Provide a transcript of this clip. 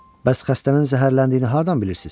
Bəs xəstənin zəhərləndiyini hardan bilirsiz?